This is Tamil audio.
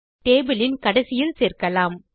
டேபிள் இன் கடைசியில் சேர்க்கலாம்